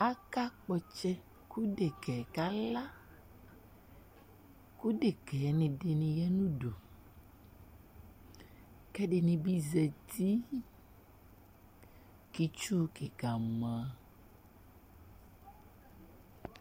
Aka kpɔ ɔtsɛ Ku ɖeka yɛ kala Ku ɖekayɛni ɖini ya nu udu Ku ɛdini bi zɛti , ku itsúh kikã mã